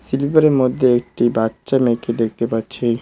স্লিপারের মধ্যে একটি বাচ্চা মেয়েকে দেখতে পাচ্ছি।